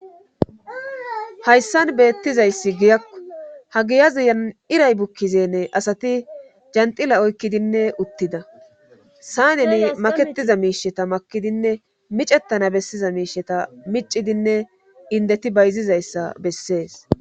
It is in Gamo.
hayssan beettizayssi giyakku hagiyazuyan iray bukkizenne asati janxila oykkidinne uttida sayneni maketiza miisheta makidinne micettana bessiza miisheta micidinne indeti bayzizayssa bessees